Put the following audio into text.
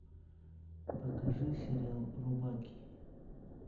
покажи сериал рубаки